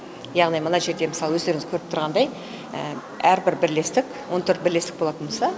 яғни мына жерде мысалы өздеріңіз көріп тұрғандай әрбір бірлестік он төрт бірлестік болатын болса